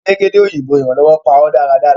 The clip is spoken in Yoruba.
Elégédé òyìnbó iranlọwọ pa ọ dáradára.